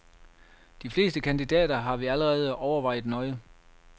De fleste kandidater har vi allerede overvejet nøje.